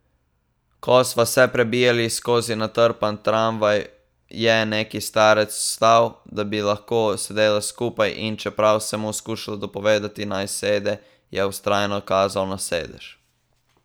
Ko sva se prebijala skozi natrpan tramvaj, je neki starec vstal, da bi lahko sedela skupaj, in čeprav sem mu skušala dopovedati, naj sede, je vztrajno kazal na sedež.